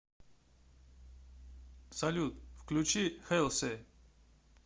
салют включи хэлси